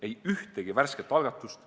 Ei ühtegi värsket algatust.